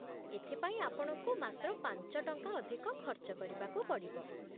ଏଥିପାଇଁ ଆପଣଙ୍କୁ ମାତ୍ର ପାଞ୍ଚ ଟଙ୍କା ଅଧିକ ଖର୍ଚ୍ଚ କରିବାକୁ ପଡ଼ିବ ।